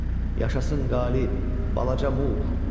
Yaşasın Qalib Balaca Muq.